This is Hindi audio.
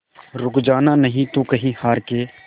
रुक जाना नहीं तू कहीं हार के